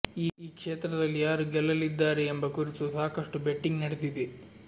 ಈ ಕ್ಷೇತ್ರದಲ್ಲಿ ಯಾರು ಗೆಲ್ಲಲಿದ್ದಾರೆ ಎಂಬ ಕುರಿತು ಸಾಕಷ್ಟು ಬೆಟ್ಟಿಂಗ್ ನಡೆದಿದೆ